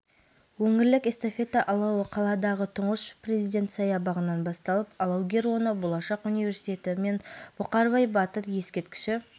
бүгін қызылордада алматыда өтетін бүкіләлемдік қысқы универсиаданың өңірлік эстафетасын табыстау рәсімі өтті облыс әкімі қырымбек көшербаев эстафетаның келуімен құттықтап қатысушыларға сәттілік